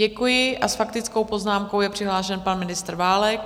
Děkuji a s faktickou poznámkou je přihlášen pan ministr Válek.